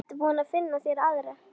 Ertu búinn að finna þér aðra?